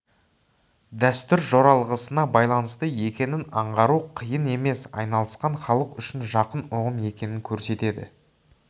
дәстүр жоралғысына байланысты екенін аңғару қиын емес айналысқан халық үшін жақын ұғым екенін көрсетеді